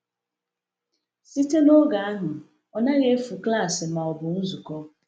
Site n’oge ahụ, ọ naghị efu klaasị ma ọ bụ nzukọ.